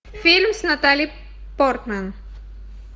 фильм с натали портман